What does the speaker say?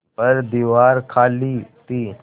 पर दीवार खाली थी